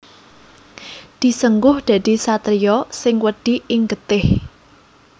Disengguh dadi satriya sing wedi ing getih